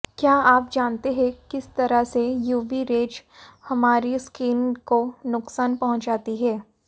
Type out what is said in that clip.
क्या आप जानते है किस तरह से यूवी रेज हमारी स्किन को नुकसान पहुंचाती है